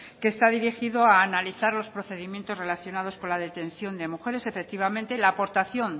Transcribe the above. que está dirigido a analizar los procedimientos relacionados con la detención de mujeres efectivamente la aportación